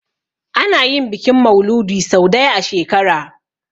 Ana yin bikin mauludi sau daya a shekara